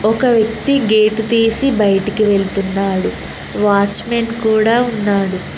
ఒక వ్యక్తి గేటు తీసి బయటికి వెళుతున్నాడు వాచ్మెన్ కూడా ఉన్నాడు.